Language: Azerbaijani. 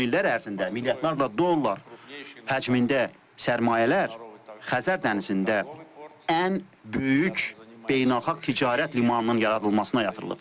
Son illər ərzində milyardlarla dollar həcmində sərmayələr Xəzər dənizində ən böyük beynəlxalq ticarət limanının yaradılmasına yatırılıbdır.